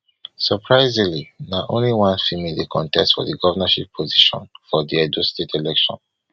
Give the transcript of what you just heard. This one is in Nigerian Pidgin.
surprisingly na only one female dey contest for di govnorship position for di edo state election